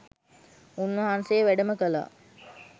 උන්වහන්සේ වැඩම කළා.